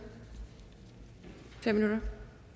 i fem minutter